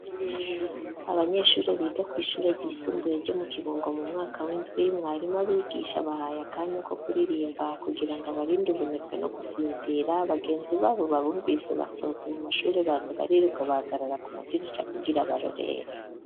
Abanyeshuri biga kw' ishuri ryisumbuye ryo mu kibungo, mu mwaka w'indwi mwarimu abigisha bahaye akanya ko kuririmba kugira ngo barinde ubunebwe no gusinzira, bagenzi babo babumvise basohotse mu mashuri baza bariruka bahagarara ku madirisha ,kugira barorere..